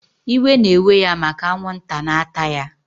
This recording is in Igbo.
Iwe na eweya maka anwụnta na ata ya